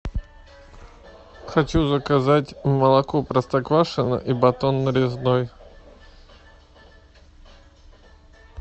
хочу заказать молоко простоквашино и батон нарезной